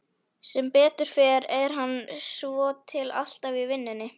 Sem betur fer er hann svotil alltaf í vinnunni.